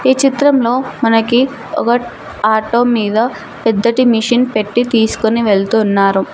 ఈ చిత్రంలో మనకి ఒక ఆటో మీద పెద్దటి మిషన్ పెట్టి తీసుకుని వెళ్తు ఉన్నారు.